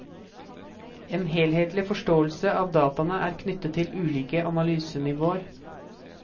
En helhetlig forståelse av dataene er knyttet til ulike analysenivåer.